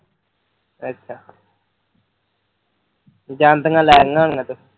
ਅੱਛਾ ਜਾਂਦੀਆਂ ਲੈ ਲਈਆਂ ਹੋਈਆਂ ਤੁਸੀਂ